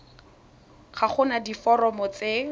ga go na diforomo tse